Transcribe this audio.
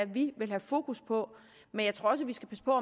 vi vil have fokus på men jeg tror også vi skal passe på at